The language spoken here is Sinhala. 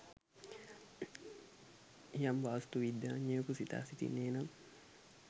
යම් වාස්තු විද්‍යාඥයකු සිතා සිටින්නේ නම්